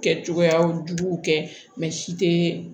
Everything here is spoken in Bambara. Kɛ cogoyaw juguw kɛ si tɛ